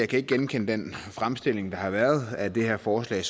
kan genkende den fremstilling der har været af det her forslag